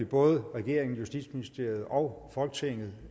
både regeringen justitsministeriet og folketinget